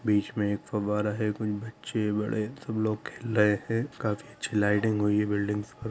बीच मे एक फव्वारा है कुछ बच्चे बड़े सब लोग खेल रहे है काफी अच्छी लाइटिंग हुई है बिल्डिंग्स पर--